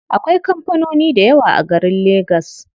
Akwai kampanoni dayawa a garin legas.